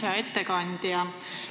Hea ettekandja!